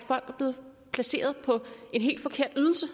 blevet placeret på en helt forkert ydelse